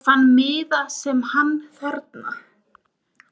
Ég fann miða sem hann þarna.